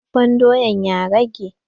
Dafafen doyan ya rage?